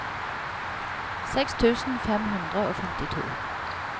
seks tusen fem hundre og femtito